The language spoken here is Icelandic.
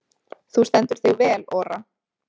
Þú stendur þig vel, Ora!